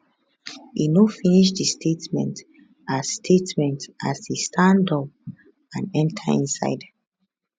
e no finish di statement as statement as e stand up and enta inside